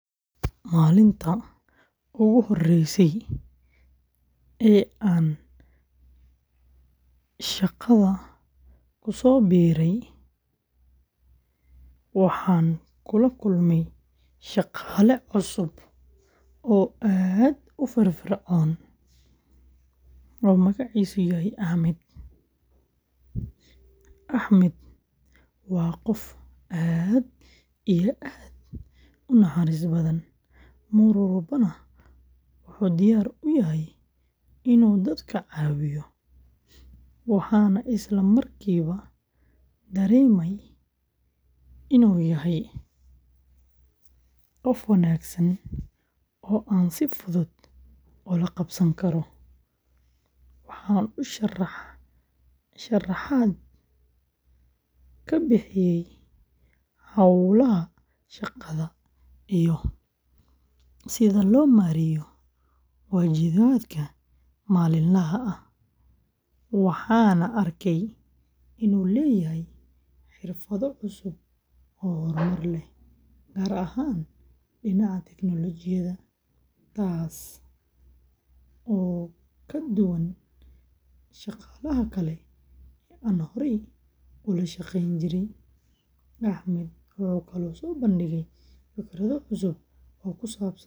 Maalintii ugu horreysay ee aan shaqada ku soo biiray, waxaan kula kulmay shaqaale cusub oo aad u firfircoon oo magaciisu yahay Axmed. Axmed waa qof aad u naxariis badan, mar walbana wuxuu diyaar u yahay inuu dadka caawiyo. Waxaan isla markiiba dareemay inuu yahay qof wanaagsan oo aan si fudud ula qabsan karo. Waxa uu sharaxaad ka bixiyay hawlaha shaqada iyo sida loo maareeyo waajibaadka maalinlaha ah. Waxaan arkay inuu leeyahay xirfado cusub oo horumar leh, gaar ahaan dhinaca tiknoolajiyada, taasoo ka duwan shaqaalaha kale ee aan horay ula shaqeyn jiray. Axmed wuxuu kaloo soo bandhigay fikirro cusub oo ku saabsan sidii loo wanaajin lahaa.